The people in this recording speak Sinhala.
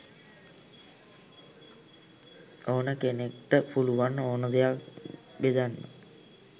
ඕන කෙනෙක්ට පුළුවන් ඕන දෙයක් බෙදන්න.